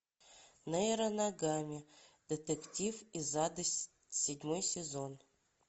нейро ногами детектив из ада седьмой сезон